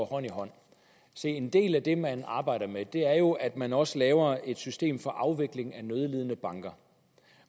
hånd i hånd se en del af det man arbejder med er jo at man også laver et system for afvikling af nødlidende banker